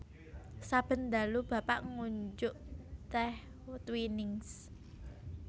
Saben dalu Bapak ngunjuk teh Twinings